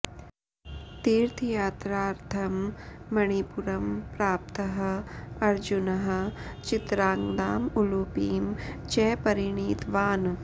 तीर्थयात्रार्थं मणिपुरं प्राप्तः अर्जुनः चित्राङ्गदाम् उलूपीं च परिणीतवान्